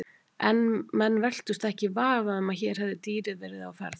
En menn velktust ekki í vafa um að hér hefði dýrið verið á ferð.